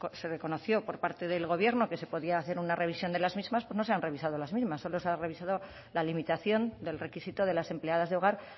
se reconoció por parte del gobierno que se podía hacer una revisión de las mismas pues no se han revisado las mismas solo se ha revisado la limitación del requisito de las empleadas de hogar